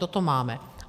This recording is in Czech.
Toto máme.